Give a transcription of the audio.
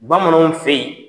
Bamananw fɛ yen